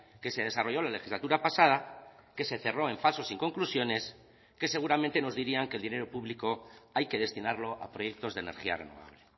que se desarrolló la legislatura pasada que se cerró en falso sin conclusiones y que seguramente nos dirían que el dinero público hay que destinarlo a proyectos de energía renovable